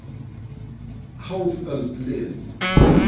Hálf öld liðin